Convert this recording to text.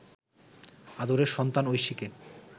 'আদরের সন্তান ঐশীকে